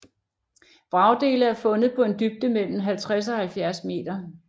Vragdele er fundet på en dybde mellem 50 og 70 meter